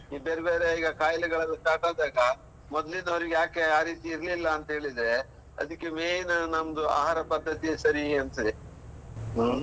ಇದು ಬೇರೆ ಬೇರೆ ಕಾಯಿಲೆಗಳೆಲ್ಲ start ಆದಾಗ ಮೊದ್ಲಿನವರಿಗೆ ಯಾಕೆ ಆರೀತಿ ಇರ್ಲಿಲ್ಲಂತ ಹೇಳಿದ್ರೆ, ಅದಿಕ್ಕೆ main ನಮ್ದು ಆಹಾರ ಪದ್ಧತಿ ಸರಿ ಅನ್ಸ್ತಿದೆ. ಹ್ಮ್.